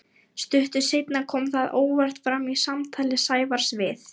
Stuttu seinna kom það óvart fram í samtali Sævars við